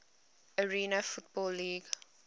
arena football league